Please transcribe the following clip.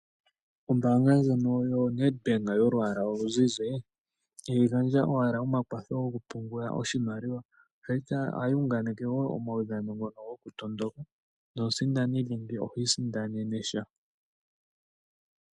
Ombaanga yoNedbank yolwaala oluzizi ihayi gandja owala omakwatho gokupungula oshimaliwa ihe ohayi unganeke wo uudhano wokutondoka nomusindani phi usindanenesha.